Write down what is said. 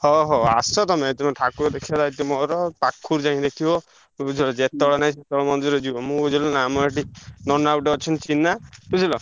ହଉ ହଉ ଆସ ତମେ। ତମେ ଠାକୁର ଦେଖିଆ ଦାୟିତ୍ୱ ମୋର ଆଉ ପାଖରୁ ଯାଇଁ ଦେଖିବ ଜେତବେଳେ ନାଇ ସେତବେଳେ ମନ୍ଦିର ଯିବ ବୁଝିଲ ନାଁ। ଆମ ର ଏଠି ନନା ଗୋଟେ ଅଛନ୍ତି ଚିହ୍ନା ବୁଝିଲ।